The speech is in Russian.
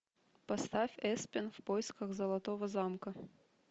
поставь эспен в поисках золотого замка